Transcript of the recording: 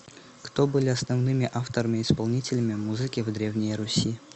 кто были основными авторами исполнителями музыки в древней руси